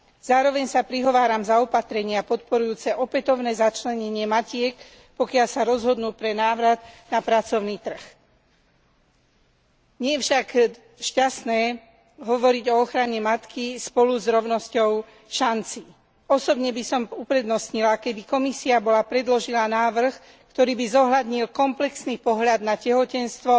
Zároveň sa prihováram za opatrenia podporujúce opätovné začlenenie matiek, pokiaľ sa rozhodnú pre návrat na pracovný trh. Nie je však šťastné hovoriť o ochrane matky spolu s rovnosťou šancí. Osobne by som uprednostnila, keby Komisia bola predložila návrh, ktorý by zohľadnil komplexný pohľad na tehotenstvo,